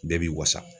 Bɛɛ b'i wasa